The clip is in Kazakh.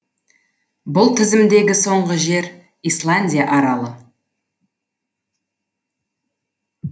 бұл тізімдегі соңғы жер исландия аралы